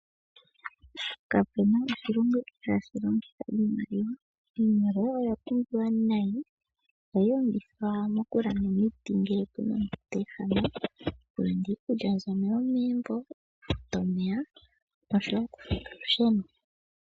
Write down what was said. Kapu na oshilongo ihaashi longitha iimaliwa. Iimaliwa oya pumbiwa nayi. Ohayi longithwa mokulanda omiti ngele pu na ngo teehama ,okulanda iikulya mbyono yomegumbo okufuta omeya noshowo okufuta olusheno.